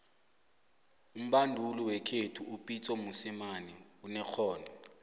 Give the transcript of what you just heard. umbanduli wekhethu upitso mosemane unerhono